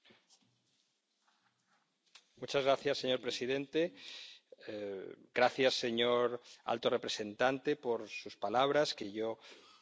Señor presidente, gracias, señor alto representante, por sus palabras, que yo y mi grupo compartimos plenamente.